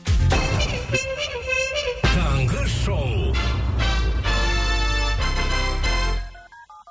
таңғы шоу